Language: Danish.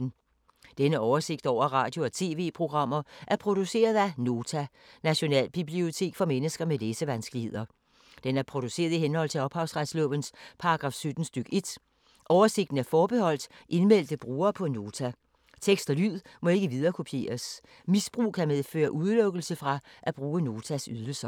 Denne oversigt over radio og TV-programmer er produceret af Nota, Nationalbibliotek for mennesker med læsevanskeligheder. Den er produceret i henhold til ophavsretslovens paragraf 17 stk. 1. Oversigten er forbeholdt indmeldte brugere på Nota. Tekst og lyd må ikke viderekopieres. Misbrug kan medføre udelukkelse fra at bruge Notas ydelser.